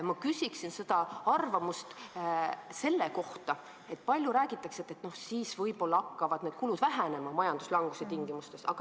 Ma küsin aga arvamust selle kohta, et palju räägitakse, kuidas siis võib-olla hakkavad need kulud vähenema majanduslanguse tingimustes.